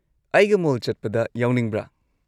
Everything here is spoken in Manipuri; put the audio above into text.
ꯑꯩꯒ ꯃꯣꯜ ꯆꯠꯄꯗ ꯌꯥꯎꯅꯤꯡꯕ꯭ꯔꯥ?